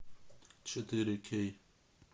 четыре кей